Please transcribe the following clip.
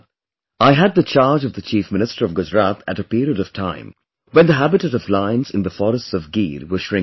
I had the charge of the Chief Minister of Gujrat at a period of time when the habitat of lions in the forests of Gir was shrinking